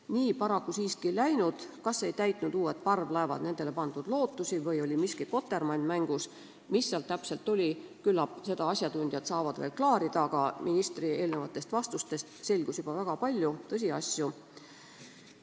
" Nii paraku siiski ei läinud – kas ei täitnud uued parvlaevad nendele pandud lootusi, oli miski kotermann mängus või mis seal täpselt oli, küllap seda saavad asjatundjad veel klaarida –, aga ministri eelnevatest vastustest selgus juba väga palju tõsiasju.